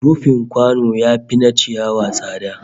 Rufin kwano yafi na ciyawa tsada